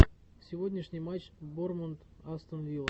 сегодняшний матч борнмут астон вилла